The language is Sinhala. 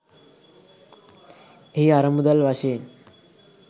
එහි අරමුදල් වශයෙන්